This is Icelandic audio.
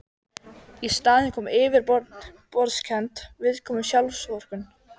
Í staðinn kom yfirborðskennd viðkvæmni, sjálfsvorkunn.